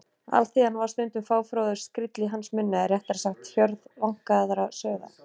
Alþýðan var stundum fáfróður skríll í hans munni eða réttara sagt: hjörð vankaðra sauða.